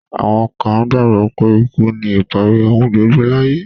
Àwọn kan gbàgbọ́ pé ikú ni ìparí ohun gbogbo láyé.